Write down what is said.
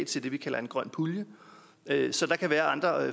til det vi kalder en grøn pulje så der kan være andre